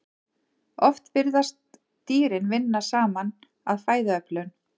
Oft virðast dýrin vinna saman að fæðuöflun.